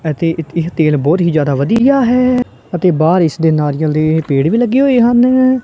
ਅਤੇ ਇਹ ਤੇਲ ਬਹੁਤ ਹੀ ਜ਼ਿਆਦਾ ਵਧੀਆ ਹੈ ਅਤੇ ਬਾਹਰ ਇਸ ਦੇ ਨਾਰੀਅਲ ਦੇ ਪੇੜ ਵੀ ਲੱਗੇ ਹੋਏ ਹਨ।